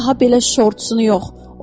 Amma daha belə şortunu yox.